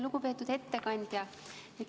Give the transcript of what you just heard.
Lugupeetud ettekandja!